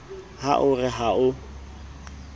ha o re ha o